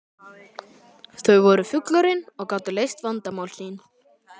Þau voru fullorðin og gátu leyst vandamál sín.